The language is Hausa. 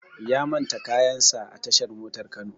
Ya manta kayan sa a tashar motar Kano